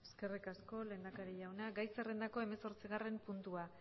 eskerrik asko lehendakari jauna gai zerrendako hemezortzigarren puntua